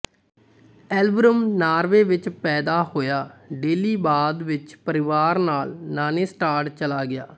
Elverum Norway ਵਿਚ ਪੈਦਾ ਹੋਇਆ ਡੇਲੀ ਬਾਅਦ ਵਿਚ ਪਰਿਵਾਰ ਨਾਲ ਨਾਨੇਸਟਾਡ ਚਲਾ ਗਿਆ